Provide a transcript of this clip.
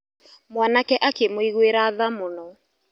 Mwanake akĩmũiguĩra tha mũno.